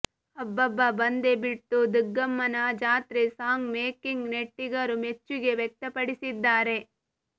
ಅಬ್ಬಾಬ್ಬಾ ಬಂದೆ ಬಿಡ್ತು ದುಗ್ಗಮ್ಮನ ಜಾತ್ರೆ ಸಾಂಗ್ ಮೇಕಿಂಗ್ ನೆಟ್ಟಿಗರು ಮೆಚ್ಚುಗೆ ವ್ಯಕ್ತಪಡಿಸಿದ್ದಾರೆ